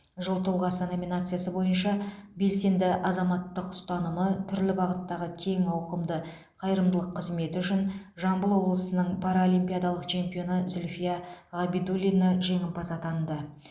жыл тұлғасы номинациясы бойынша белсенді азаматтық ұстанымы түрлі бағыттағы кең ауқымды қайырымдылық қызметі үшін жамбыл облысының паралимпиадалық чемпионы зүльфия ғабидуллина жеңімпаз атанды